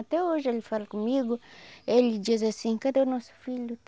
Até hoje ele fala comigo, ele diz assim, cadê o nosso filho?